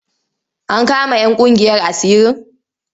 An kama 'yan ƙungiyar asirin?